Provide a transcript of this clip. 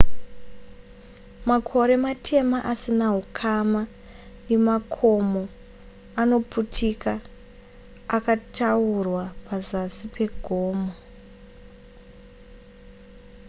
makore matema asina hukama nemakomo anoputika akataurwa pazasi pegomo